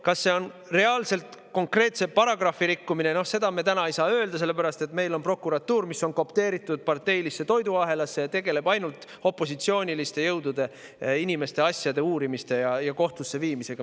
Kas see on reaalselt konkreetse paragrahvi rikkumine, seda me täna ei saa öelda, sellepärast et meil on prokuratuur, mis on koopteeritud parteilisse toiduahelasse ning tegeleb ainult opositsiooniliste jõudude ja inimeste asjade uurimise ja kohtusse viimisega.